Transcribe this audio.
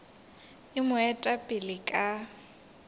e mo eta pele ka